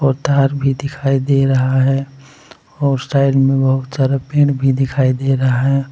उधर भी दिखाई दे रहा है और साइड में बहुत सारा पेड़ भी दिखाई दे रहा है।